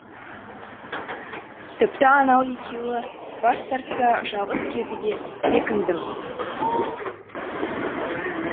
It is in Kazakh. тіпті анау екеуі бас тартса жалғыз кетуге бекіндім